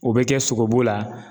O bɛ kɛ sogobu la